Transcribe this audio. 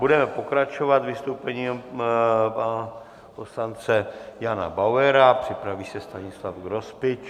Budeme pokračovat vystoupením pana poslance Jana Bauera, připraví se Stanislav Grospič.